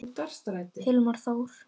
Hilmar Þór.